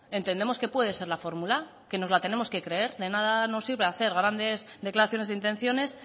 entendemos que puede ser la fórmula que nos la tenemos que creer de nada nos sirve hacer grandes declaraciones de intenciones